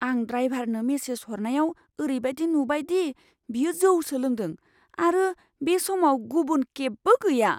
आं ड्राइभारनो मेसेज हरनायाव ओरैबायदि नुबाय दि बियो जौसो लोंदों आरो बे समाव गुबुन केबबो गैया।